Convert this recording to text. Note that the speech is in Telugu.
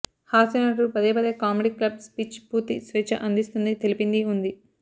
హాస్యనటుడు పదేపదే కామెడీ క్లబ్ స్పీచ్ పూర్తి స్వేచ్ఛ అందిస్తుంది తెలిపింది ఉంది